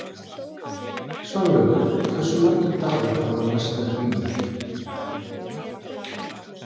Svanlaug, hversu margir dagar fram að næsta fríi?